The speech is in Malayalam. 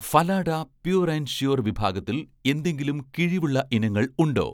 ഫലാഡ പ്യൂർ ആൻഡ് ഷ്യൂർ' വിഭാഗത്തിൽ എന്തെങ്കിലും കിഴിവുള്ള ഇനങ്ങൾ ഉണ്ടോ